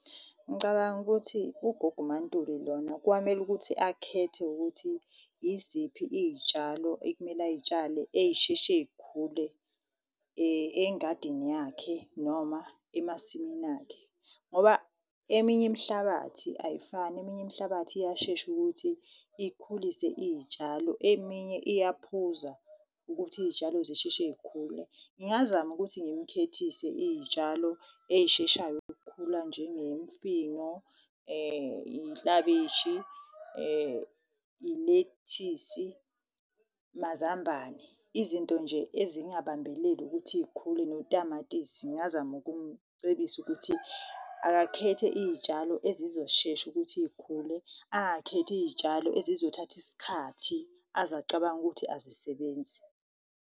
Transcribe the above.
Ngicabanga ukuthi ugogo uMaNtuli lona, kwamele ukuthi akhethe ukuthi yiziphi iy'tshalo ekumele ayitshale ey'sheshe yikhule engadini yakhe noma emasimini akhe. Ngoba eminye imhlabathi ayifani, eminye imhlabathi iyashesha ukuthi ikhulise iy'tshalo, eminye iyaphuza ukuthi iy'tshalo zisheshe yikhule. Ngingazama ukuthi ngimkhethise iy'tshalo eyisheshayo ukukhula, njengemfino, iklabishi, ilethisi, mazambane. Izinto nje ezingabambeleli ukuthi y'khule, notamatisi. Ngingazama ukumcebisa ukuthi akakhethe iyitshalo ezizoshesha ukuthi y'khule. Angakhethi iyitshalo ezizothatha isikhathi azacabanga ukuthi azisebenzi.